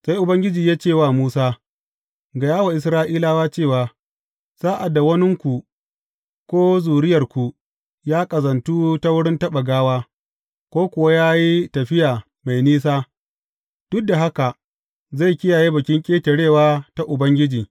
Sai Ubangiji ya ce wa Musa, Gaya wa Isra’ilawa cewa, Sa’ad da waninku ko zuriyarku ya ƙazantu ta wurin taɓa gawa, ko kuwa ya yi tafiya mai nisa, duk da haka zai kiyaye Bikin Ƙetarewa ta Ubangiji.